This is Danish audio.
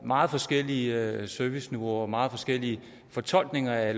meget forskellige serviceniveauer og meget forskellige fortolkninger af